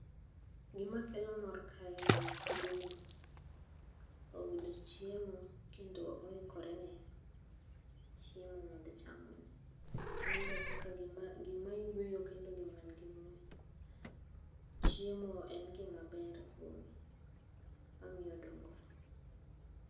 Gima kelo mor kae, othudhuni iyudo chiemo kendo oikore ne chiemo modhi chamoni. En be kaka gima yueyo kendo gima nigimuya, chiemo en gima ber kuome, omiyo odongore.